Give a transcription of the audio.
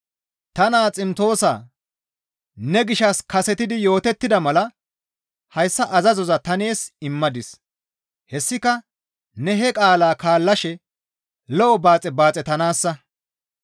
Ta naa Ximtoosaa! Ne gishshas kasetidi yootettida mala hayssa azazoza ta nees immadis; hessika ne he qaalaa kaallashe lo7o baaxe baaxetanaassa.